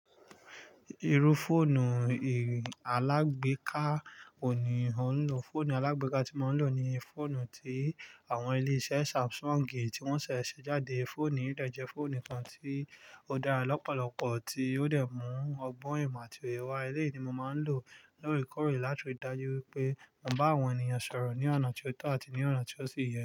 Irú fóònù alágbèéká wo ni ò ń lò. Fóònù alágbèéká tí mo ń lò ni fóònù tí àwọn ilé-iṣẹ́ Samsung ti wọ́n ṣẹ̀ ṣe jáde. Fóònù yìí dé jẹ́ fóònù kan tí ó dára lọ́pọ̀lọpọ̀, tí ó dé mú ọgbọ́n ìmọ̀ àti òye wá eleyi ni mo máa ń lò lóreekórè láti rí dájú wípé mo ń bá àwọn ènìyàn sọ̀rọ̀ ní ọ̀nà tí ó tọ̀ àti ní ọ̀nà tí ó sì yẹ.